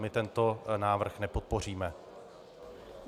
My tento návrh nepodpoříme.